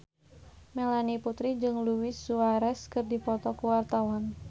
Melanie Putri jeung Luis Suarez keur dipoto ku wartawan